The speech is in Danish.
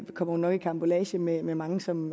kommer hun nok i karambolage med med mange som